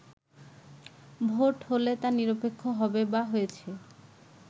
vote হলেই তা নিরপেক্ষ হবে বা হয়েছে